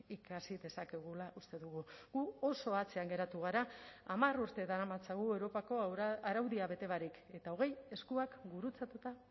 ikasi dezakegula uste dugu gu oso atzean geratu gara hamar urte daramatzagu europako araudia bete barik eta hogei eskuak gurutzatuta